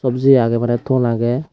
gujeyi age mane thon age.